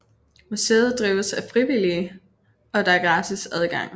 Museet drives af frivillige og der er gratis adgang